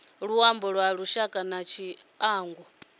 luimbo lwa lushaka na tshiangu